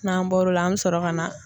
N'an bɔr'o la an bɛ sɔrɔ ka na